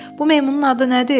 Bu meymunun adı nədir?